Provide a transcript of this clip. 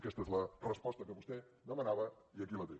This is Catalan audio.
aquesta és la resposta que vostè demanava i aquí la té